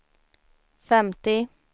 femtio